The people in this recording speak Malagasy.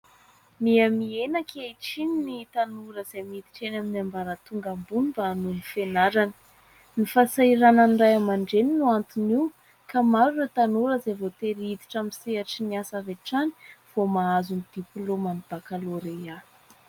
Miha-mihena ankehitriny ny tanora izay miditra eny amin'ny ambaratonga ambony, mba hanohy ny fianarany. Ny fahasahiranan'ny ray aman-dreny no anton'io, ka maro ireo tanora izay voatery hiditra amin'ny sehatry ny asa avy hatrany vao mahazo ny diplaoman'ny bakalorea.